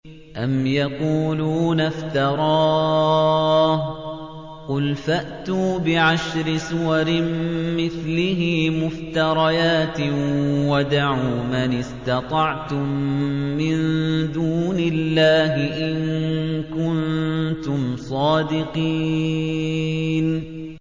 أَمْ يَقُولُونَ افْتَرَاهُ ۖ قُلْ فَأْتُوا بِعَشْرِ سُوَرٍ مِّثْلِهِ مُفْتَرَيَاتٍ وَادْعُوا مَنِ اسْتَطَعْتُم مِّن دُونِ اللَّهِ إِن كُنتُمْ صَادِقِينَ